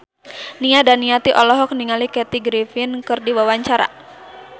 Nia Daniati olohok ningali Kathy Griffin keur diwawancara